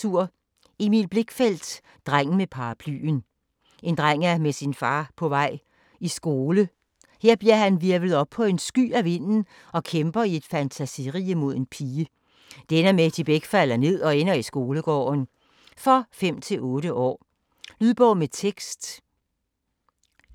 Blichfeldt, Emil: Drengen med paraplyen En dreng er med sin far på vej i skole. Her bliver han hvirvlet op på en sky af vinden og kæmper i et fantasirige mod en pige. Det ender med, at de begge falder ned og ender i skolegården. For 5-8 år. Lydbog med tekst